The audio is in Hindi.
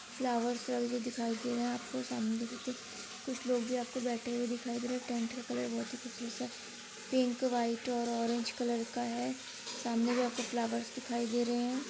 फ्लावर्स दिखाई दे रहे हैं आपके सामने भी कुछ कुछ लोग भी आपको बैठे हुए दिखाई दे रहे हैं। टेंट का कलर बहोत ही खूबसूरत सा पिंक व्हाइट और ऑरेंज कलर का है। सामने भी आपको फ्लावर्स दिखाई दे रहे हैं।